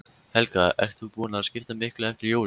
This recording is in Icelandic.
Helga: Ert þú búin að skipta miklu eftir jólin?